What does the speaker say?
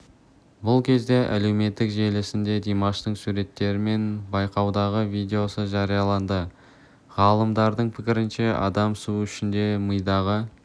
бұл кезде әлеуметтік желісінде димаштың суреттері мен байқаудағы видеосы жарияланды ғалымдардың пікірінше адам су ішкенде мидағы